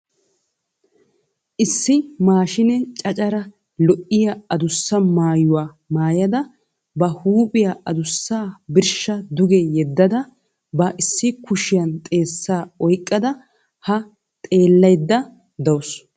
Issi maashiine caccara lo'iya adussa mayuwa mayyada ba huuphiya adussaa birshsha duge yeddada ba issi kushiyan xeessaa oyikkada haa xeellayidda dawusu.